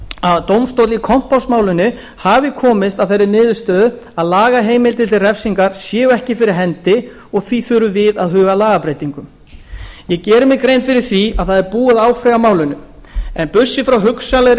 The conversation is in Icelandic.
að dómstóll í kompássmálinu hafi komist að þeirri niðurstöðu að lagaheimildir til refsingar séu ekki fyrir hendi og því þurfum við að huga að lagabreytingum ég geri mér grein fyrir því að það er búið að áfrýja málinu en burtséð frá hugsanlegri